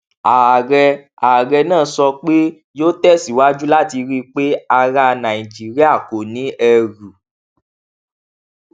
ààrẹ ààrẹ náà sọ pé yóò tẹsíwájú láti rí i pé ará nàìjíríà kò ní ẹrù